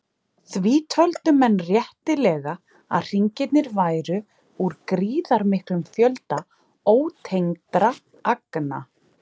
Því töldu menn réttilega að hringirnir væru úr gríðarmiklum fjölda ótengdra agna.